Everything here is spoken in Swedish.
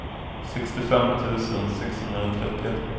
sextiofem tusen sexhundratrettioett